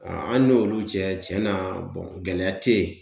An an n'olu cɛ cɛn na bɔn gɛlɛya te yen